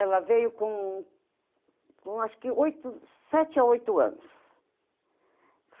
Ela veio com com acho que oito, sete a oito anos.